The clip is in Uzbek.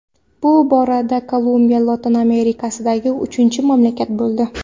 Bu borada Kolumbiya Lotin Amerikasidagi uchinchi mamlakat bo‘ldi.